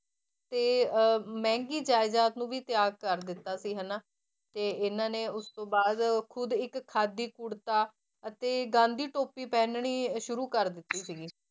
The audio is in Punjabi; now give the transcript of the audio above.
ਤੇ ਅਹ ਮਹਿੰਗੀ ਜਾਇਦਾਦ ਨੂੰ ਵੀ ਤਿਆਗ ਕਰ ਦਿੱਤਾ ਸੀ ਹਨਾ, ਤੇ ਇਹਨਾਂ ਨੇ ਉਸ ਤੋਂ ਬਾਅਦ ਖੁੱਦ ਇੱਕ ਖਾਦੀ ਕੁੜਤਾ ਅਤੇ ਗਾਂਧੀ ਟੋਪੀ ਪਹਿਨਣੀ ਸ਼ੁਰੂ ਕਰ ਦਿੱਤੀ ਸੀਗੀ,